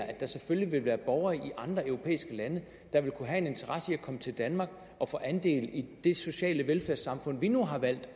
at der selvfølgelig vil være borgere i andre europæiske lande der vil kunne have en interesse i at komme til danmark og få andel i det sociale velfærdssamfund vi nu har valgt